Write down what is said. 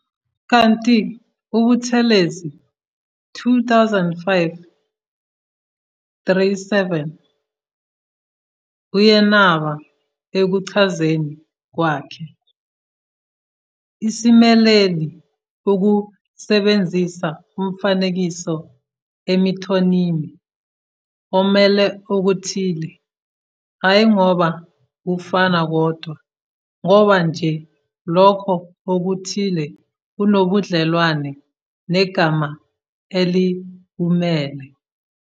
Kanti uButhelezi, 2005- 37, uyenaba ekuchazeni kwakhe- "Isimeleli ukusebenzisa umfanekiso imethonimi omele okuthile, hhayi ngoba kufana kodwa ngoba nje lokho okuthile kunobudlelwane negama elikumele.